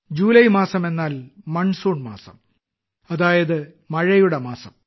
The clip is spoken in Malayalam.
ജൂലൈ മാസം എന്നാൽ മൺസൂൺ മാസം അതായത് മഴയുടെ മാസം